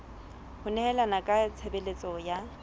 ho nehelana ka tshebeletso ya